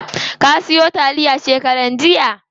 Ka siyo taliya shekaran jiya?